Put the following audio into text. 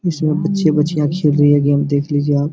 इसमें बच्चे बच्चियां खेल रही है गेम देख लीजिए आप।